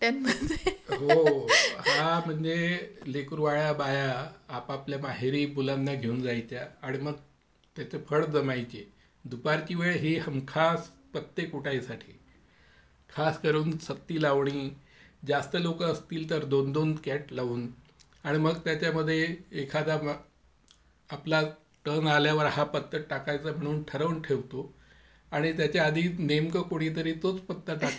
हो हा म्हणजे त्या लेकरूवाळ्या बाया आपापल्या माहेरी मुलांना घेऊन जायच्या आणि फळ जमायचे आणि दुपारची वेळ हमखास पत्ते कुटायसाठी. खास करून सत्ती लावणी जास्त लोक असतील तर दोन दोन कॅट लावून आणि मग त्याच्यामध्ये एखादा आपला आल्यावर हा पत्ता टाकायचा म्हणून ठरवून ठेवतो मग आणि त्याच्या आधी नेमकं तोच पत्ता कोणीतरी टाकायचा.